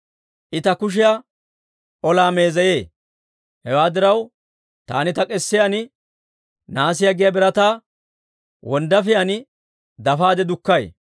I ta kushiyaa olaa meezeyee; Hewaa diraw, taani ta k'esiyaan, nahaasiyaa giyaa birataa wonddaafiyaan dafaade dukkay.